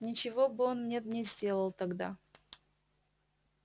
ничего бы он мне не сделал тогда